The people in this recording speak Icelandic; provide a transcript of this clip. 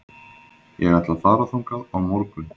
Ég ætla að fara þangað á morgun.